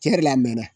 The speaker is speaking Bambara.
Cɛn yɛrɛ la a mɛn na